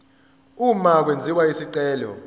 uma kwenziwa isicelo